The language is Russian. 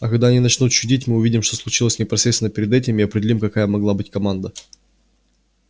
а когда они начнут чудить мы увидим что случилось непосредственно перед этим и определим какая могла быть команда